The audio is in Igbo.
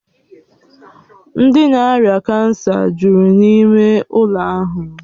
Ndị ná-ária kansa jụrụ n'ịme ụlọ ahụ